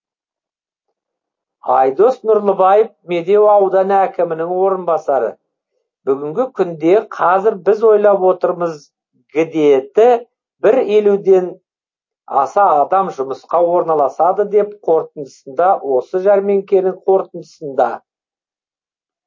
айдос нұрлыбаев медеу ауданы әкімінің орынбасары бүгінгі күнде қазір біз ойлап отырмыз гідеті бір елуден аса адам жұмысқа орналасады деп қорытындысында осы жәрмеңкенің қорытындысында